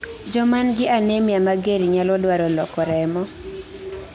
jomangi anemia mager nyalo dwaro loko remo